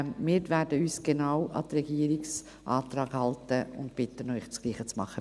Wir werden uns genau an den Regierungsantrag halten und bitten Sie, dasselbe zu tun.